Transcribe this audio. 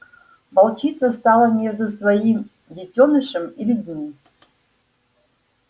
волчица стала между своим детёнышем и людьми